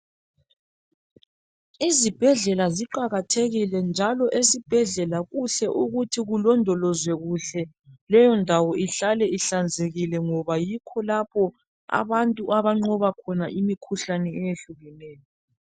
Esibhedlela kuqakathekile kakhulu njalo lindawo kufuze igcinwe ihlanzekile ,ilondolozwe kuhle ,ngoba yikho lapho abantu abathola khona impilo.